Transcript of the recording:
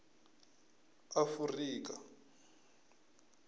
afurika